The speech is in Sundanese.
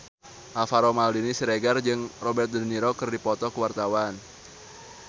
Alvaro Maldini Siregar jeung Robert de Niro keur dipoto ku wartawan